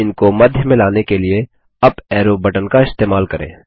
अब इनको मध्य में लाने लिए अप एरो बटन का इस्तेमाल करें